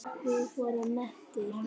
Við vorum mettir.